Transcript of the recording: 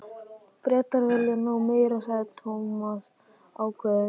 Bretar vilja ná mér sagði Thomas ákveðinn.